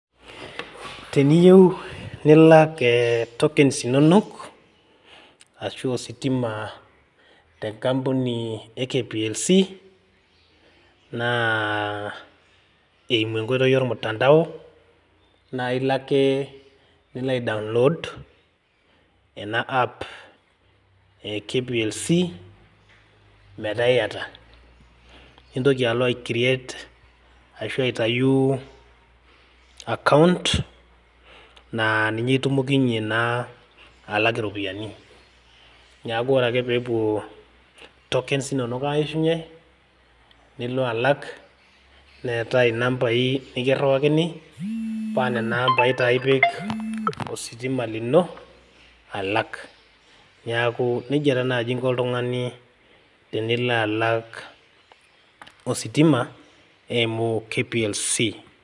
Teniyieu nilak tokens arashu ositima te nkampuni e kplc na eimu enkoitoi ormutandao na ilo ake niloa download ena app e kplc metaa iyata nintoki alo ai create ashu alo aitau account na ninye itumokinye na alak iropiyiani neaku ore ake pepuo tokens inonok aishunye nilo alak neetae inambai nikiriwakini pa nona ambai ipik ositima lino alak neaku nejia nai inko oltungani tenilo alak ositima eimu KPLC